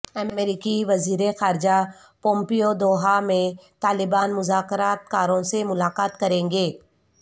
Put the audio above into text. امریکی وزیرخارجہ Pompeo Doha میں طالبان مذاکرات کاروں سے ملاقات کریں گے